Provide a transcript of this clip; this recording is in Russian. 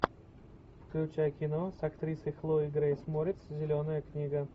включай кино с актрисой хлоей грейс морец зеленая книга